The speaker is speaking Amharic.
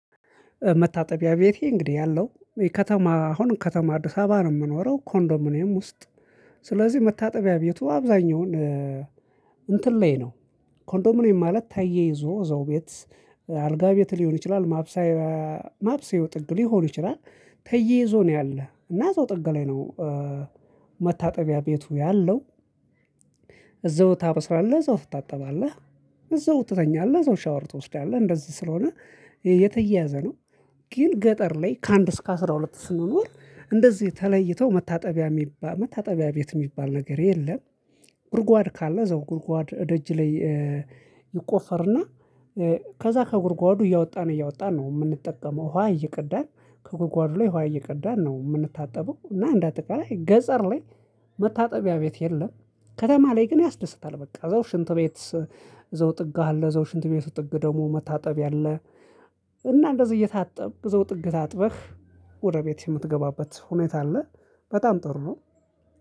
መታጠቢያ ቤቴ እንግዲህ ያለው የከተማ አሁን ከተማ አዲስ አበባ ነው የምኖረው ኮንዶሚኒየም ውስጥ። ስለዚህ መታጠቢያ ቤቱ አብዛኛውን እንትን ላይ ነው። ኮንዶሚኒየም ማለት ተያይዞ እዛው ቤት አልጋ ቤት ሊሆን ይችላል ማብሰይ ማብሰያው ጥግ ሊሆን ይችላል ተያይዞ ነው ያለ እና እዛው ጥግ ላይ ነው። መታጠቢያ ቤቱ ያለው። እዛው ታበስላለህ እዛው ትታጠባለህ እዛው ትተኛለህ እዛው ሻወር ትወስዳለህ እንደዚህ ስለሆነ የተያያዘ ነው። ግን ገጠር ላይ ከአንድ እስከ አስራ ሁለት ስንኖር እንደዚህ ተለይተው መታጠቢያ የሚባል መታጠቢያ ቤት የሚባል ነገር የለም። ጉርጓድ ካለ እዛው ጉርጓድ እደጅ ላይ። ይቆፈርና ከዛ ከጉርጓዱ እያወጣን እያወጣን ነው። የምንጠቀመው ዉሃ እይቅዳን ከጉርጓዱ ላይ ዉሃ እይቅዳን ነው የምንታጠበው። እና እንደ አጠቃላይ ገጸር ላይ መታጠቢያ ቤት የለም። ከተማ ላይ ግን ያስደስታል በቃ እዛው ሽንት ቤት እዛው ጥግ አለ እዛው ሽንት ቤቱ ጥግ ደግሞ መታጠብያ አለ። እና እንደዚህ እየታጠብክ እዛው ጥግ ታጥበህ ወደ ቤት የምትገባበት ሁኔታ አለ። በጣም ጥሩ ነው።